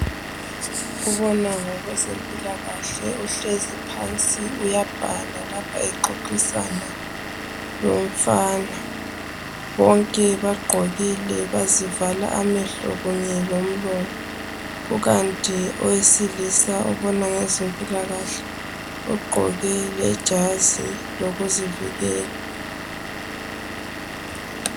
Obona ngokwezempilakahle uhlezi phansi uyabhala ngapha exoxisana lomfana. Bonke bagqokile, bazivala amehlo kanye lomlomo, kukanti owesilisa obona ngezempilakahle ugqoke lejazi lokuzivikela